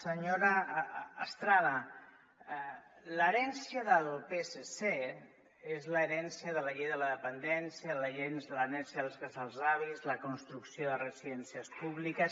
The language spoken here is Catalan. senyora estrada l’herència del psc és l’herència de la llei de la dependència l’herència dels casals d’avis la construcció de residències públiques